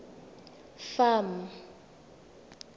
farm